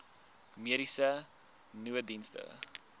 mediese nooddienste